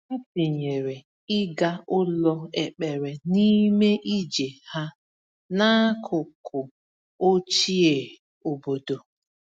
Ha tinyere ịga ụlọ ekpere n’ime ije ha n’akụkụ ochie obodo.